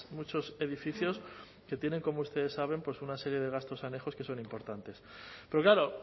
muchos edificios que tienen como ustedes saben pues una serie de gastos anejos que son importantes pero claro